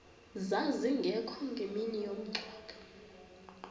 zazingekho ngemini yomngcwabo